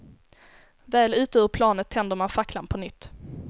Väl ute ur planet tänder man facklan på nytt.